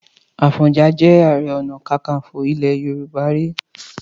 Àfọ̀njá jẹ Ààrẹ Ọ̀nà Kakaǹfò ilẹ̀ Yorùbá rí.